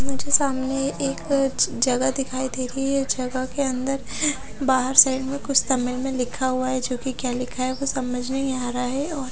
मुझे सामने ये एक ज जगह दिखाई दे रही है जगह के अंदर बाहर साइड मे कुछ तमिल मे लिखा हुआ है जोकि क्या लिखा है वो समझ नही आ रहा है और--